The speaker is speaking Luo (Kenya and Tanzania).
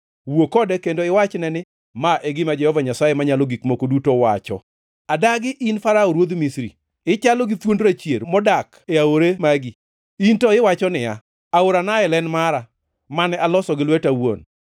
Wuo kode kendo iwachne ni: ‘Ma e gima Jehova Nyasaye Manyalo Gik Moko Duto wacho: “ ‘Adagi, in Farao ruodh Misri, ichalo gi thuond rachier modak e aore magi. In to iwacho niya, “Aora Nael en mara, mane aloso gi lweta awuon.”